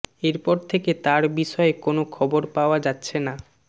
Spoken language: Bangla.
এরপর থেকে তার বিষয়ে কোনো খবর পাওয়া যাচ্ছে না